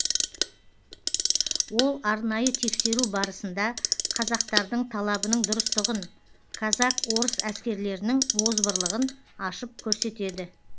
ол арнайы тексеру барысында қазақтардың талабының дұрыстығын казак орыс әскерлерінің озбырлығын ашып көрсетеді